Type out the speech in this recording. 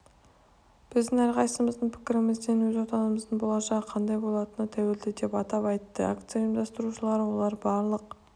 біздің әрқайсымыздың пікірімізден өз отанымыздың болашағы қандай болатыны тәуелді деп атап айтты акция ұйымдастырушылары олар барлық